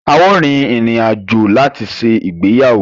A ó rin ìrìn àjò láti ṣe ìgbéyàwó